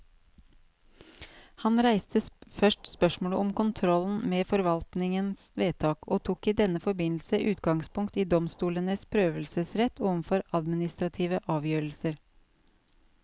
Han reiste først spørsmålet om kontrollen med forvaltningens vedtak, og tok i denne forbindelse utgangspunkt i domstolenes prøvelsesrett overfor administrative avgjørelser.